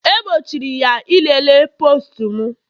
E gbochiri ya ilele postu m